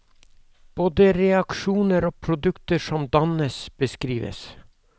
Både reaksjoner og produkter som dannes, beskrives.